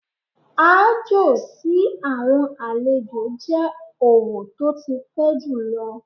Aájò sí àwọn àlejò jẹ́ òwò tó ti pẹ́ jùlọ.